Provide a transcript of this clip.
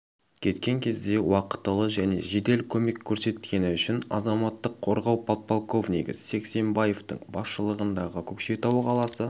кеткен кезде уақытылы және жедел көмек көрсеткені үшін азаматтық қорғау подполковнигі сексембаевтың басшылығындағы көкшетау қаласы